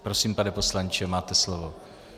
Prosím, pane poslanče, máte slovo.